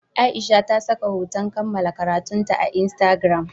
Aisha ta saka hoton kammala karatunta a Instagram.